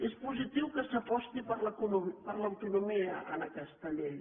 és positiu que s’aposti per l’autonomia en aquesta llei